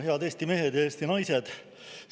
Head Eesti mehed ja Eesti naised!